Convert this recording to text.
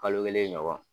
Kalo kelen ɲɔgɔn